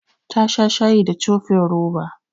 Ta sha shayi da cofin roba.